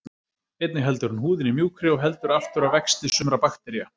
Einnig heldur hún húðinni mjúkri og heldur aftur af vexti sumra baktería.